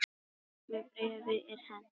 Engu bréfi er hent